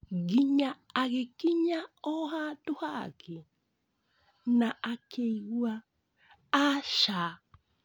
Nyingĩ agĩgĩkinya ohandũ hangĩ na akĩigua "Aca!"